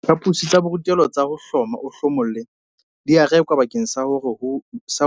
Diphaposi tsa borutelo tsa hloma-o-hlomolle di a rekwa bakeng sa hore